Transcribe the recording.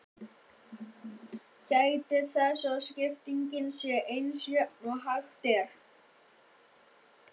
Gætið þess að skiptingin sé eins jöfn og hægt er.